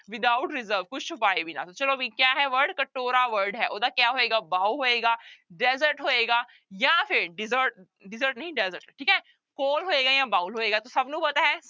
Without reserve ਕੁਛ ਛੁਪਾਏ ਬਿਨਾਂ ਚਲੋ ਵੀ ਕਿਆ ਹੈ word ਕਟੋਰਾ word ਹੈ ਉਹਦਾ ਕਿਆ ਹੋਏਗਾ bow ਹੋਏਗਾ desert ਹੋਏਗਾ ਜਾਂ ਫਿਰ dessert dessert ਨਹੀਂ desert ਠੀਕ ਹੈ ਹੋਏਗਾ ਜਾਂ bowl ਹੋਏਗਾ ਤੇ ਸਭ ਨੂੰ ਪਤਾ ਹੈ